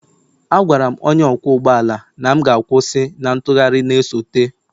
Agwara m onye ọkwọ ụgbọ ala na m ga-kwusi na ntụgharị na-esote,